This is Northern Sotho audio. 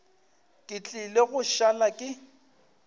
ke tlile go šala ke